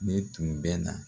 Ne tun bɛ na